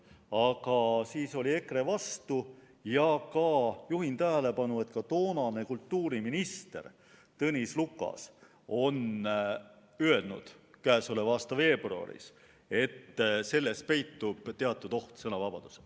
Aga siis oli EKRE vastu ja juhin tähelepanu, et ka toonane kultuuriminister Tõnis Lukas on öelnud käesoleva aasta veebruaris, et selles peitub teatud oht sõnavabadusele.